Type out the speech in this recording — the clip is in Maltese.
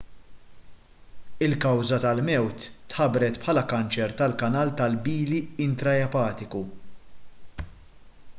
il-kawża tal-mewt tħabbret bħala kanċer tal-kanal tal-bili intraepatiku